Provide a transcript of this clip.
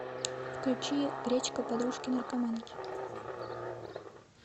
включи гречка подружки наркоманки